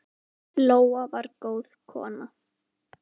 Lóa var góð kona.